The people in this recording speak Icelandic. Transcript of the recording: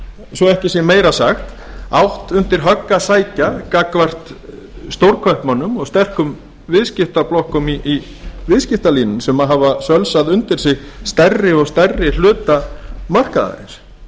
svo ekki sé meira sagt átt undir högg að sækja gagnvart stórkaupmönnum og sterkum viðskiptablokkum í viðskiptalífinu sem hafa sölsað undir sig stærri og stærri hluta markaðarins ég held að það